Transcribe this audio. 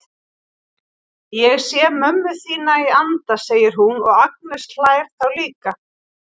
Ég sé mömmu þína í anda, segir hún og Agnes hlær þá líka.